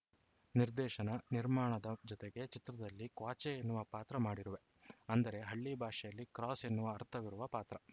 ನಿರ್ದೇಶನ ನಿರ್ಮಾಣದ ಜತೆಗೆ ಚಿತ್ರದಲ್ಲಿ ಕ್ವಾಚೆ ಎನ್ನುವ ಪಾತ್ರ ಮಾಡಿರುವೆ ಅಂದರೆ ಹಳ್ಳಿ ಭಾಷೆಯಲ್ಲಿ ಕ್ರಾಸ್‌ ಎನ್ನುವ ಅರ್ಥವಿರುವ ಪಾತ್ರ